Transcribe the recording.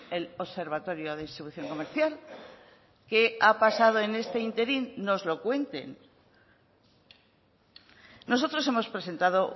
el observatorio de distribución comercial qué ha pasado en este ínterin nos lo cuenten nosotros hemos presentado